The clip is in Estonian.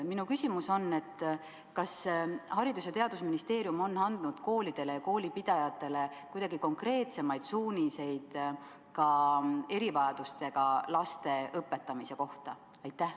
Minu küsimus on: kas Haridus- ja Teadusministeerium on andnud koolidele ja koolipidajatele konkreetsemaid suuniseid ka erivajadustega laste õpetamise kohta?